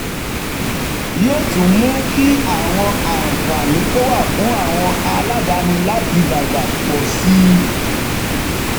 yóò tún mú kí àwọn àǹfààní tó wà fún àwọn aládàáni láti dàgbà pọ̀ sí i.